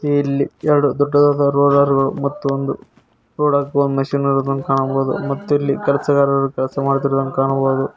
ಇಲ್ಲಿ ಎರಡು ದೊಡ್ಡದಾದ ರೋಲರ್ ಗಳು ಮತ್ತು ಒಂದು ರೋಡ್ ಹಾಕುವ ಮೆಷೀನ್ ಇರುವುದನ್ನು ಕಾಣಬಹುದು ಮತ್ತು ಇಲ್ಲಿ ಕೆಲಸಗಾರರು ಕೆಲಸ ಮಾಡುತ್ತಿರುವುದನ್ನು ಕಾಣಬಹುದು.